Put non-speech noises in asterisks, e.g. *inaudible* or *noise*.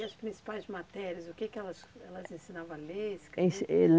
E as principais matérias, o que que elas elas ensinavam a ler, a escrever? *unintelligible*